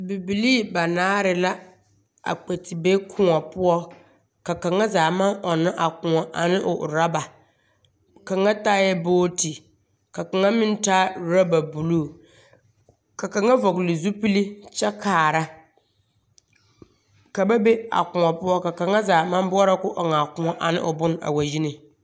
Bibilii banaare la a kpɛ te be kõɔ poɔ ka kaŋa zaa maŋ ɔnnɔ a kõɔ ane o oraba kaŋa taaɛ booti ka kaŋa me taa orɔba buluu. Ka kaŋa vɔge le zupili kyɛ kaara. Ka ba be a kõɔ poɔ ka kaŋa zaa maŋ boɔ ka o ɔŋ a kõɔ ane o bone a wa yi ne